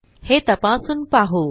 हे तपासून पाहू